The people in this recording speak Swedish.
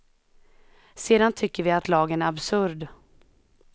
Sedan tycker vi att lagen är absurd.